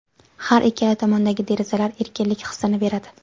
Har ikkala tomondagi derazalar erkinlik hissini beradi.